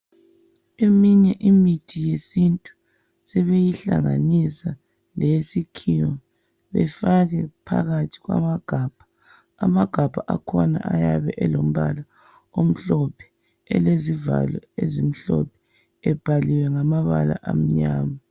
Eminye imithi yesintu sebeyihlanganisa leyesikhiwa befake phakathi kwamagabha. Amagabha akhona ayabe elombala omhlophe, elezivalo ezimhlophe, ebhaliwe ngamabala amnyama.